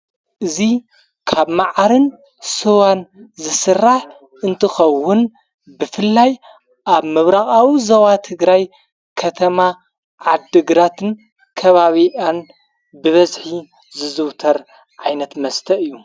እዙ ካብ መዓርን ስዋን ዘሥራሕ እንትኸውን ብፍላይ ኣብ ምብራቓዊ ዘባ ትግራይ ከተማ ዓድግራትን ከባቢኣን ብበዝኂ ዝዘውተር ዓይነት መስተእ እዩ።